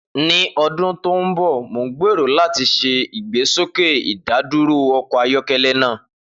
Ni ọdun to nbọ, Mo gbero lati ṣe igbesoke idaduro ọkọ ayọkẹlẹ naa.